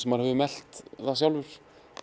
maður hefur melt það sjálfur